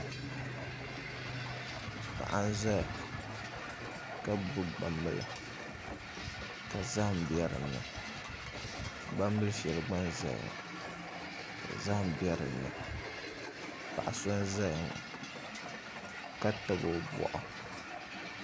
Paɣa n ʒɛya ka gbubi gbambila ka zaham bɛ dinni gbambili shɛli gba n ʒɛya ŋɔ ka zaham bɛ dinni paɣa so n ʒɛya ŋɔ ka tabi o boɣu